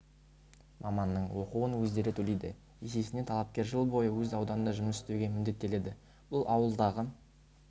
маманның оқуын өздері төлейді есесіне талапкер жыл бойы өз ауданында жұмыс істеуге міндеттеледі бұл ауылдағы